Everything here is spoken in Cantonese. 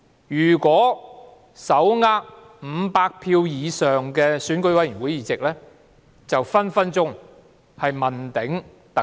如果手握500票以上選委會議席，就隨時問鼎特首。